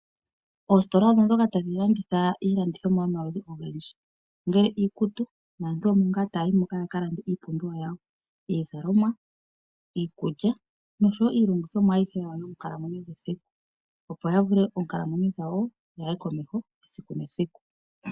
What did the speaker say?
Oositola odho ndhoka tadhi landitha iilandithomwa yomaludhi ogendji ngaashi iikutu. Aantu omo ngaa taya yi moka ya lande iipumbiwa yawo ngaashi iizalomwa, iikulya noshowo iilongithomwa yawo ayihe yomonkalamwenyo yesiku, opo ya vule oonkalamwenyo dhawo dhi ye komeho esiku nesiku.